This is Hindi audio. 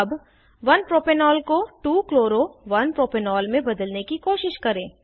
अब 1 प्रोपेनॉल को 2 chloro 1 प्रोपेनॉल में बदलने की कोशिश करें